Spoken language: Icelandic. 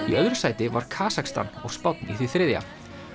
í öðru sæti var Kasakstan og Spánn í því þriðja